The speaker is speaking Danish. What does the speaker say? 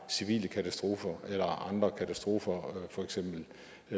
civile katastrofer eller andre katastrofer for eksempel